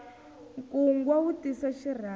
nkungwa wu tisa xirhami